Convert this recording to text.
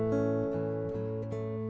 og